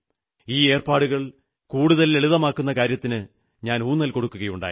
ഈ ഏർപ്പാടുകൾ കൂടുതൽ ലളിതമാക്കുന്ന കാര്യത്തിന് ഞാൻ ഊന്നൽ കൊടുക്കുകയുണ്ടായി